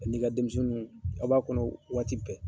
An'i ka denmisɛnniw a b'a kɔnɔ waati bɛɛ